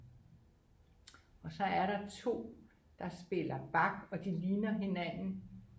og så er der 2 der spiller bag og de ligner hinanden